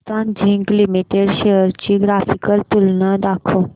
Hindustan zinc limited shares ची graphical तुलना दाखव